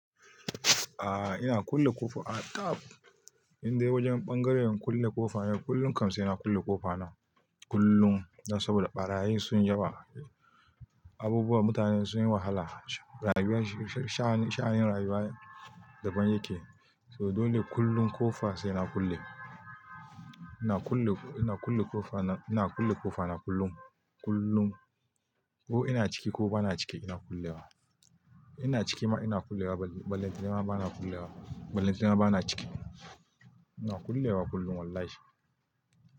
A'a ina kulle kofa a tab in dai wajen bangaren kulle kofa ne, kullum kam sai na kulle ƙofa nan kullum. Saboda ɓarayi sun yi yawa, abubuwa mutane sun yi wahala, shahin rayuwa daban yake. To dole kullum ƙofa sai na kulle. Ina kulle ƙofa na. Ina kulle ƙofa na kullum, kullum ko ina ciki ko ba na ciki ina kulle wa. Ina ciki ma ina kulle wa, ballenta nema bana kulle wa, ballenta ne bana ciki. Ina kulle wa kullum wallahi.